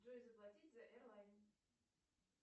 джой заплатить за эрлайн